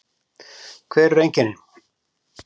Hver eru einkennin?